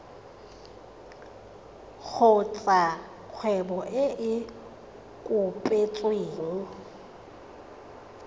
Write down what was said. kgotsa kgwebo e e kopetsweng